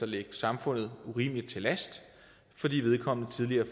ligge samfundet urimelig meget til last fordi vedkommende tidligere